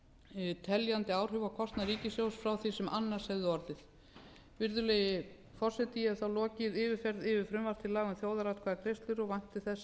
hafi teljandi áhrif á kostnað ríkissjóðs frá því sem annars hefði orðið virðulegi forseti ég hef þá lokið yfirferð yfir frumvarp til laga um þjóðaratkvæðagreiðslur og vænti þess að